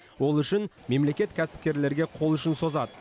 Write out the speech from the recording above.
ол үшін мемлекет кәсіпкерлерге қол ұшын созады